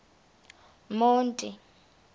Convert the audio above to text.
monti